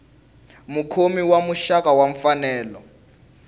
mukhomi wa muxaka wa mfanelo